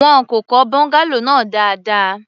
Wọn kò kọ́ bungalow náà dáadáa.